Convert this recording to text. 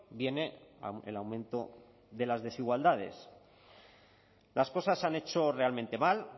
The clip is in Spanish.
viene el aumento de las desigualdades las cosas se han hecho realmente mal